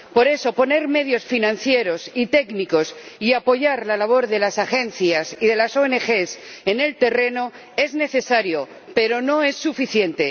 Por eso, poner medios financieros y técnicos y apoyar la labor de las agencias y de las ONG en el terreno es necesario, pero no es suficiente.